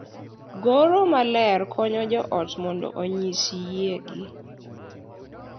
Goro maler konyo jo ot mondo onyis yiegi,